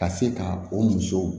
Ka se ka o musow